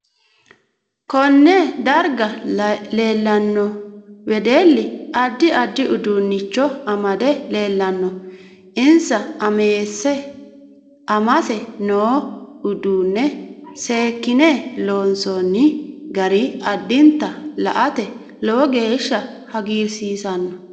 Konne darga leelanno wedelli addi addi uduunicho amade leelanno insa amese noo uduune seekine loonsooni gari adinta la'ate lowo geesha hagiirsiisanno